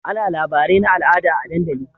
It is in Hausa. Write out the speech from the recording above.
Ana labarai na al'ada a dandali